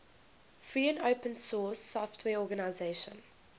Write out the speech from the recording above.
free and open source software organizations